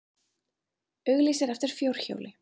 Auglýsir eftir fjórhjóli